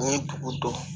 N ye dugu dɔn